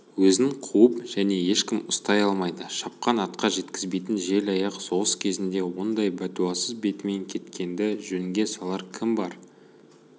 өзін қуып және ешкім ұстай алмайды шапқан атқа жеткізбейтін жел аяқ соғыс кезінде ондай бәтуасыз бетімен кеткенді жөнге салар кім бар